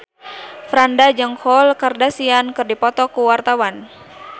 Franda jeung Khloe Kardashian keur dipoto ku wartawan